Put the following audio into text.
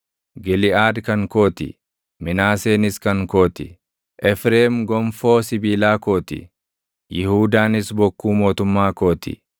Giliʼaad kan koo ti; Minaaseenis kan koo ti. Efreem gonfoo sibiilaa koo ti; Yihuudaanis bokkuu mootummaa koo ti.